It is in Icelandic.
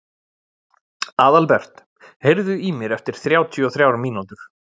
Aðalbert, heyrðu í mér eftir þrjátíu og þrjár mínútur.